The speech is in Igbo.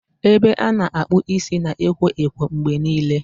Ebe a na-akpụ isi na ekwo ekwo mgbe niile.